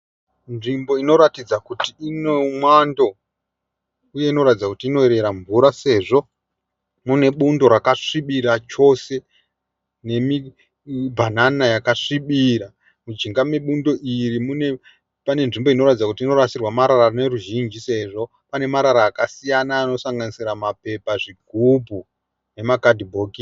Nzvimbo inoratidza kuti ino mwando uye inoratidza kuti inoyerera mvura sezvo mune bundo rakasvibira chose nemibhanana yakasvibira. Mujinga mebundo iri mune pane nzvimbo inoratidza kuti inorasirwa marara neruzhinji sezvo pane marara akasiyana anosanganisira mapepa, zvigubhu nemakadhibhokisi.